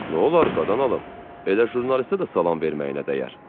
"Nolar qadan alım, elə jurnalistə də salam verməyinə dəyər."